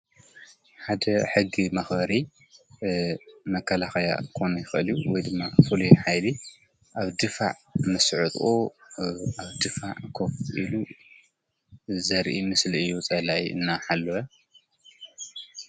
ሓደ ሕጊ መኸሪ መካላኽያ ኮኑይኸልዩ ወድማ ፍልየ ኃይሊ ኣብ ድፋዕ መሥዑ ት ኣብ ድፋዕ ክፍ ኢኢሉ ዘርኢ ምስሊ እዩ ጸላይ እናሓለወ።